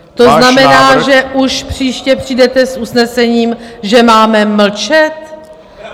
To znamená, že už příště přijdete s usnesením, že máme mlčet?